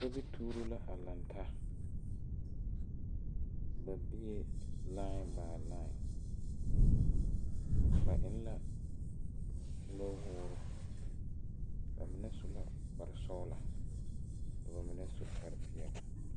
Sobi tuubo la a laŋ taa ba bèè lain bai lai ba eŋ la nu woore ba mine su la kpare sɔglɔ ka ba mine su kpare peɛle.